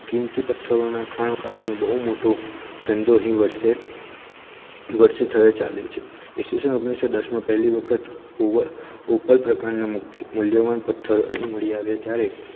કીમતી પથ્થરોના ખાણકામ નો બહુ મોટો ધંધો અહી વશે વશે થયો ચાલુ છે ઇસવીસન પહેલી ઓગણીસો દસ માં પહેલી વખત ઉવલ પ્રકારના મૂલ્યવાન પથ્થર અહી મળી આવે ત્યારે